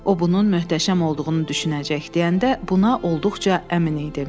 O bunun möhtəşəm olduğunu düşünəcək deyəndə buna olduqca əmin idi.